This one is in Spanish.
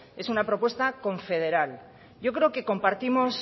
es una propuesta confederal yo creo que compartimos